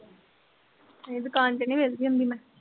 ਨਹੀਂ ਦੁਕਾਨ ਚ ਨੀ ਵਿੱਲਦੀ ਹੁੰਦੀ ਮੈਂ।